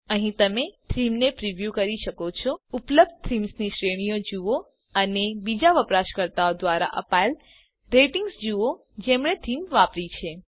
અહીં તમે થીમને પ્રીવ્યું પૂર્વદર્શન કરી શકો છો ઉપલબ્ધ થીમ્સની શ્રેણીઓ જુઓ અને બીજા વપરાશકર્તાઓ દ્વારા અપાયેલ રેટિંગ્સ જુઓ જેમણે થીમ વાપરી છે